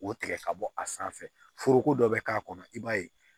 O tigɛ ka bɔ a sanfɛ foroko dɔ be k'a kɔnɔ i b'a ye